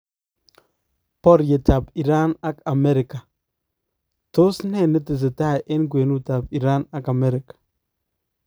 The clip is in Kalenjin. Baryeetab Iran ak Amerika :Tos nee netesetai en kwenutab Iran ak Amerika